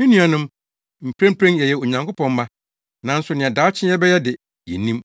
Me nuanom, mprempren yɛyɛ Onyankopɔn mma, nanso nea daakye yɛbɛyɛ de, yennim.